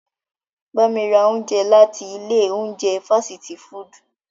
Ba mi ra ounjẹ lati ile ounjẹ fasiti fudu!